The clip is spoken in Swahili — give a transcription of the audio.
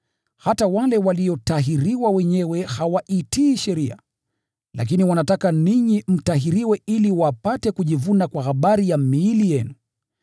Hata wale waliotahiriwa wenyewe hawaitii sheria, lakini wanataka ninyi mtahiriwe ili wapate kujivuna kwa habari ya miili yenu.